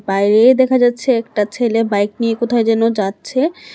বাইরে দেখা যাচ্ছে একটা ছেলে বাইক নিয়ে কোথায় যেন যাচ্ছে।